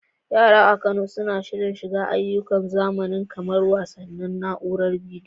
Yara a Kano suna shirin shiga ayyukan zamani kamar wasannin na'uarar bidiyo.